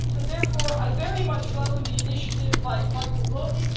Therefore, I very much welcome the initiative by Michał Boni.